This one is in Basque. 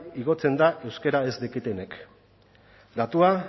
igotzen da euskara ez dakitenek datua